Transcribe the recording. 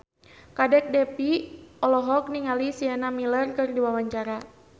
Kadek Devi olohok ningali Sienna Miller keur diwawancara